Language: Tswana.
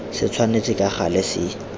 se tshwanetse ka gale se